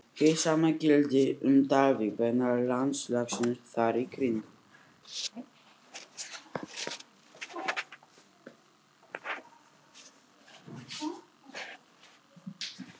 Hið sama gildir um Dalvík vegna landslagsins þar í kring.